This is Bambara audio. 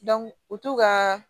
u to ka